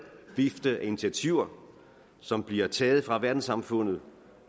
vifte af initiativer som bliver taget af verdenssamfundet